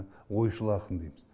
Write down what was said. ойшыл ақын дейміз